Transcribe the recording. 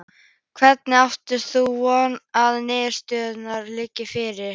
Hvenær átt þú von á að niðurstaða liggi fyrir?